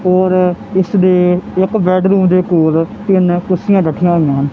ਔਰ ਇਸਦੇ ਇੱਕ ਬੈੱਡਰੂਮ ਦੇ ਕੋਲ ਤਿੰਨ ਕੁਰਸੀਆਂ ਰੱਖੀਆਂ ਹੋਈਆਂ ਹਨ।